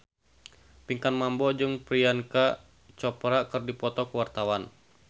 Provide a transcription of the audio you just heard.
Pinkan Mambo jeung Priyanka Chopra keur dipoto ku wartawan